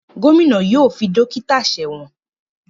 Gómìnà yóò fi dókítà sẹ́wọ̀n